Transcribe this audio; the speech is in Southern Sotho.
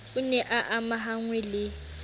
o ne a amahanngwe le